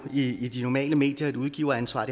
i de normale medier et udgiveransvar og